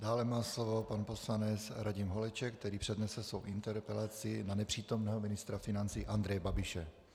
Dále má slovo pan poslanec Radim Holeček, který přednese svou interpelaci na nepřítomného ministra financí Andreje Babiše.